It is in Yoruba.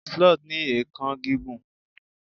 sloth ni eekan gigun